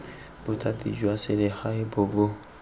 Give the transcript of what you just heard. bothati jwa selegae bo bo